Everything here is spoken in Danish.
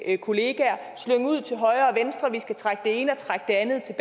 kolleger at vi skal trække det ene og det andet